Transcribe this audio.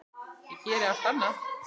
Ég geri allt annað.